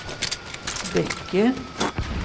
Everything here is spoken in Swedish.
böcker